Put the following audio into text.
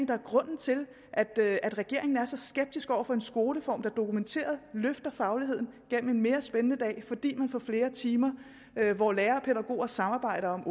der er grunden til at regeringen er så skeptisk over for en skoleform der dokumenteret løfter fagligheden gennem en mere spændende dag fordi man får flere timer hvor lærere og pædagoger samarbejder om